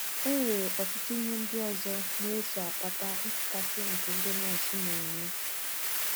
E nwere ọtụtụ ihe ndị ọzọ na - eso akpata nchekasị nke ndị nọọsụ na - enwe.